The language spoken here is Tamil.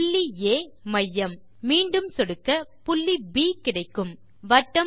புள்ளி ஆ மையம்